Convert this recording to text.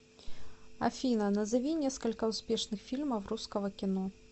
афина назови несколько успешных фильмов русского кино